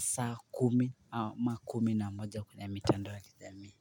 saa kumi ma kumi na moja kwenye mitandao ya kijami.